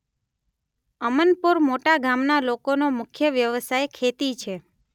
અમનપોર મોટા ગામના લોકોનો મુખ્ય વ્યવસાય ખેતી છે.